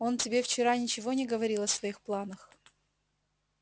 он тебе вчера ничего не говорил о своих планах